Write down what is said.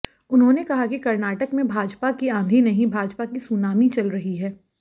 उन्होंने कहा कि कर्नाटक में भाजपा की आंधी नहीं भाजपा की सुनामी चल रही है